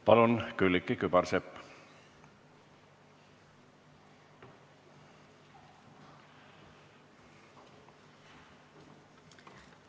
Palun, Külliki Kübarsepp!